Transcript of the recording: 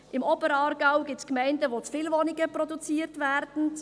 Im Oberaargau gibt es Gemeinden, wo zu viele Wohnung produziert werden.